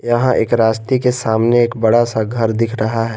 यहां एक रास्ते के सामने एक बड़ा सा घर दिख रहा है।